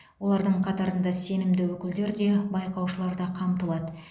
олардың қатарында сенімді өкілдер де байқаушылар да қамтылады